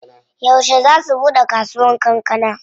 Yauce zaa su buɗe kasuwar kankana?